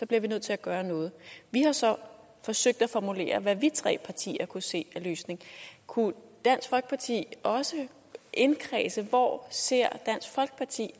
bliver nødt til at gøre noget vi har så forsøgt at formulere hvad vi tre partier kunne se af løsning kunne dansk folkeparti også indkredse hvor dansk ser